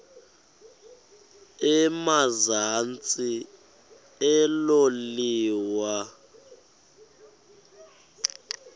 emazantsi elo liwa